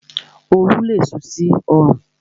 Oru lé sú sí orùn